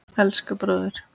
Elsku bróðir!